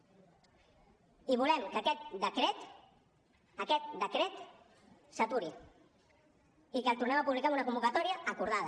i volem que aquest decret aquest decret s’aturi i que el tornem a publicar amb una convocatòria acordada